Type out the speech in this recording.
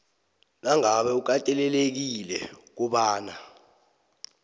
nangabe ukatelelekile kobana